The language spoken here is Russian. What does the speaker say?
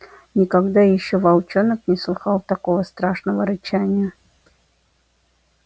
никогда ещё волчонок не слыхал такого страшного рычания